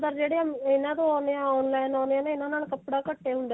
ਜਿਹੜੇ ਇਹਨਾਂ ਤੋਂ ਆਉਂਦੇ ਆ online ਆਉਂਦੇ ਆ ਇਹਨਾਂ ਨਾਲ ਕਪੜਾ ਘੱਟ ਹੀ ਹੁੰਦਾ